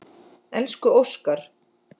Elsku Óskar.